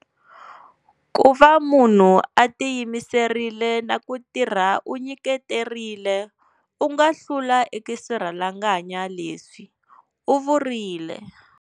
Ku va munhu a ti yimiserile na ku tirha u nyiketerile, u nga hlula eka swirhalanganya leswi, u vurile.